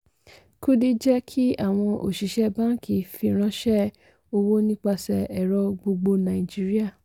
kudi jẹ́ kí àwọn òṣìṣẹ́ báńkì fìránṣẹ́ owó nípasẹ̀ ẹ̀rọ gbogbo nàìjíríà.